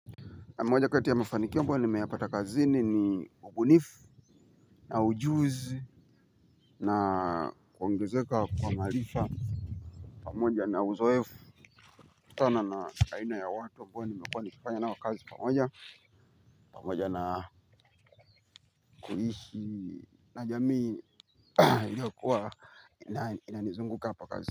Na moja kati ya mafanikio ambayo nimeyapata kazini ni ubunifu, na ujuzi na kuongezeka kwa maarifa. Pamoja na uzoefu kutokana na aina ya watu ambao nimekuwa nikifanya nao kazi pamoja. Pamoja na kuishi na jamii inayokuwa inanizunguka hapa kazini.